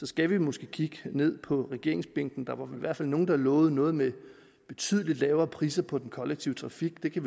skal vi måske kigge ned på regeringsbænkene der var i hvert fald nogle der lovede noget med betydeligt lavere priser på den kollektive trafik det